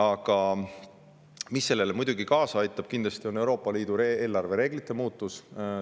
Aga mis sellele muidugi kaasa aitab, on kindlasti Euroopa Liidu eelarvereeglite muutus.